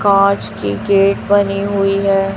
कांच की गेट बनी हुई है।